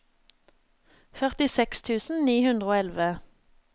førtiseks tusen ni hundre og elleve